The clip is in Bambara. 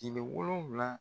Tile wolonwula.